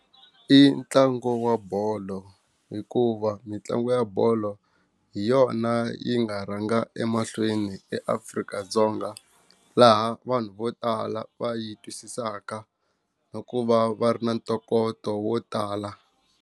I ntlangu wa bolo hikuva mitlangu ya bolo hi yona yi nga rhanga emahlweni eAfrika-Dzonga laha vanhu vo tala va yi twisisaka na ku va va ri na ntokoto wo tala.